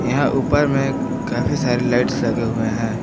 यहां ऊपर मे काफी सारे लाइट्स लगे हुए हैं।